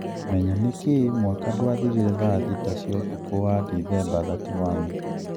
Menya niki mwaka dwathirire thaa thita cia ũtukũ wa Dithemba 31?